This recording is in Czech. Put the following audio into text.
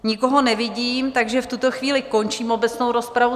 Nikoho nevidím, takže v tuto chvíli končím obecnou rozpravu.